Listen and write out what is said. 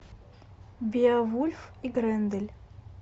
беовульф и грендель